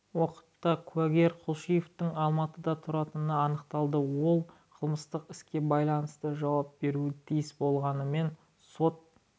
уақытта куәгер кулишовтың алматыда тұратыны анықталды ол қылмыстық іске байланысты жауап беруі тиіс болғанымен сот